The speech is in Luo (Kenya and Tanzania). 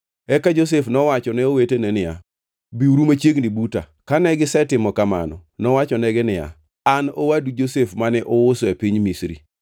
Eka Josef nowacho ne owetene niya, “Biuru machiegni buta.” Kane gisetimo kamano, nowachonegi niya, “An owadu Josef mane uuso e piny Misri!